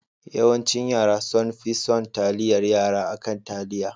Yawancin yara sonfi son taliyar Yara akan taliya.